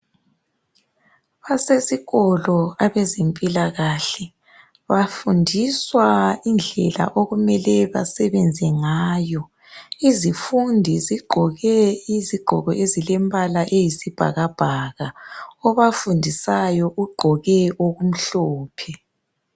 Basesikolo abezempilakahle bafundiswa indlela okumele basebenze ngayo izifundi zigqoke izigqoko ezilembala eyisibhakabhaka obafundisayo ugqoke okumhlophe.